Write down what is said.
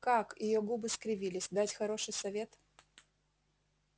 как её губы скривились дать хороший совет